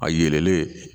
A yelenlen